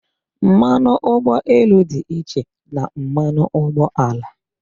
Mmanụ ụgbọelu dị iche na mmanụ ụgbọala